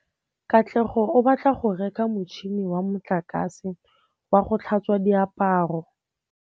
Katlego o batla go reka motšhine wa motlakase wa go tlhatswa diaparo.